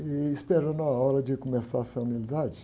e esperando a hora de começar essa unidade.